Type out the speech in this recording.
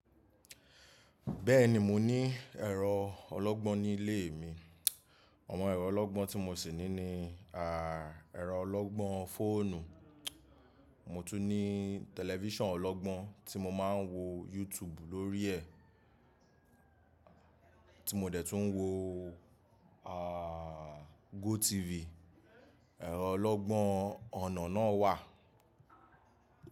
Bẹ́ẹ̀ni, mo ní ẹ̀rọ ọlọ́gbọ́n nílé mi. Awon ẹ̀rọ ọlọ́gbọ́n tí mo sì ní ni, ẹ̀rọ ọlọ́gbọ́n fóònù, mo tún ní tẹlifíṣàn ọlọ́gbọ́n tí mo máa ń wo YouTube lórí ẹ̀, tí mo dẹ̀ tún ń wo, GoTv. Ẹ̀rọ ọlọ́gbọ́n ọ̀nà náà wà.